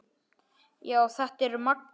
Já, þetta er magnað.